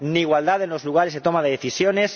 ni igualdad en los lugares de toma de decisiones